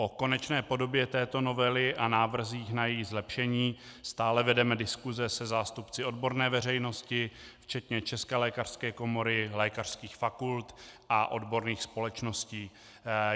O konečné podobě této novely a návrzích na její zlepšení stále vedeme diskuse se zástupci odborné veřejnosti včetně České lékařské komory, lékařských fakult a odborných společností.